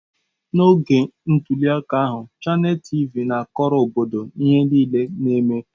N'oge ntuli aka ahụ, Chanel TịVị na-akọrọ obodo ihe niile na-eme.